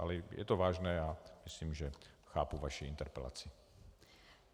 Ale je to vážné a myslím, že chápu vaši interpelaci.